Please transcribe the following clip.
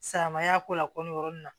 Silamɛya ko lako nin yɔrɔ nin na